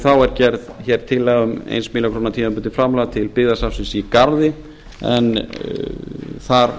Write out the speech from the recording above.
þá er gerð tillaga um eina milljón króna tímabundins framlags til byggðasafnsins í garði en þar